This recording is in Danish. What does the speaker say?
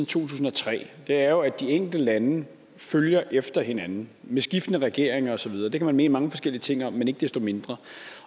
tusind og tre er jo at de enkelte lande følger efter hinanden med skiftende regeringer og så videre det kan man mene mange forskellige ting om men ikke desto mindre